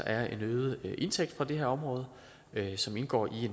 er en øget indtægt fra det her område som indgår i